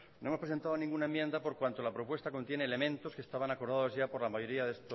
no hemos presentado ninguna enmienda por cuanto la propuesta contiene elementos que estaban acordados ya por la mayoría de